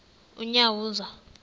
unyawuza